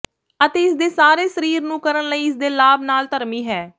ਅਤੇ ਇਸ ਦੇ ਸਾਰੇ ਸਰੀਰ ਨੂੰ ਕਰਨ ਲਈ ਇਸ ਦੇ ਲਾਭ ਨਾਲ ਧਰਮੀ ਹੈ